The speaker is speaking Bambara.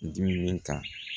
Dimi ta